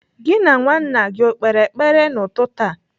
Gị na nwa nna gị o kpere ekpere n'ụtụtụ a?